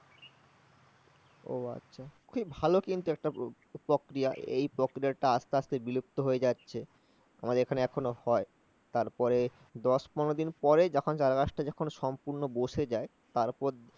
ওহ আচ্ছা। খুব ভালো কিন্তু একটা প্রক্রিয়া ।এই প্রক্রিয়া টা আস্তে আস্তে বিলুপ্ত হয়ে যাচ্ছে। আমাদের এখানে এখনো হয় তারপরে দশ পনেরো দিন পরে যখন চারাগাছটা যখন সম্পূর্ণ বসে যায় তারপর